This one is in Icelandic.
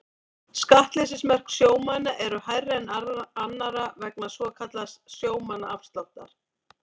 Skattleysismörk sjómanna eru hærri en annarra vegna svokallaðs sjómannaafsláttar.